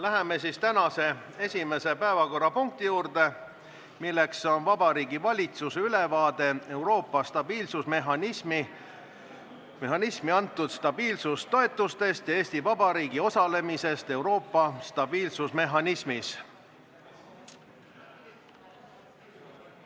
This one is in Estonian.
Läheme tänase esimese päevakorrapunkti juurde, mis on Vabariigi Valitsuse ülevaade Euroopa stabiilsusmehhanismi antud stabiilsustoetustest ja Eesti Vabariigi osalemisest Euroopa stabiilsusmehhanismis.